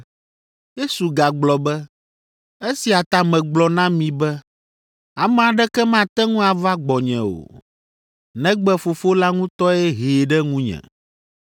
Yesu gagblɔ be, “Esia ta megblɔ na mi be ame aɖeke mate ŋu ava gbɔnye o, negbe Fofo la ŋutɔe hee ɖe ŋunye.”